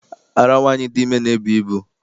Ara nwaanyị dị ime na-ebu ibu.